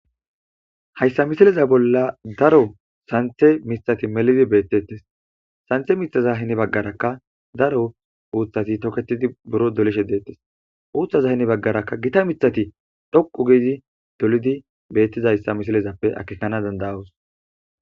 hayssa misileza bolla daro santhe mithti melidi beettettes santhe mitaza hini baggarakka daro uuththati toketidi buro doleshe deettes uuththaza hini baggarakka gita mithati dhoqu geezi tolidi beettizayssa misilezappe akekana danda7os